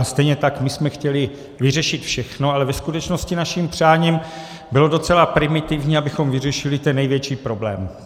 A stejně tak my jsme chtěli vyřešit všechno, ale ve skutečnosti naším přáním bylo docela primitivní, abychom vyřešili ten největší problém.